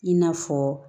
I n'a fɔ